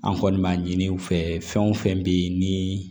An kɔni b'a ɲini u fɛ fɛn o fɛn be ye ni